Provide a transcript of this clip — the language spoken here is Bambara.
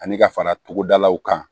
Ani ka fara togodalaw kan